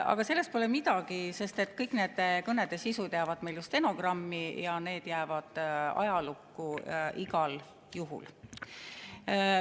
Aga sellest pole midagi, sest kõik nende kõnede sisud jäävad meil ju stenogrammi ja need jäävad ajalukku igal juhul.